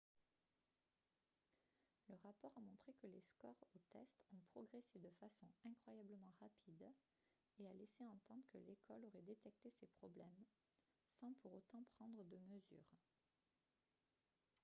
le rapport a montré que les scores aux tests ont progressé de façon incroyablement rapide et a laissé entendre que l'école aurait détecté ces problèmes sans pour autant prendre de mesures